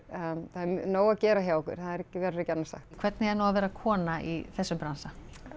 nóg að gera hjá okkur það verður ekki annað sagt hvernig er nú að vera kona í þessum bransa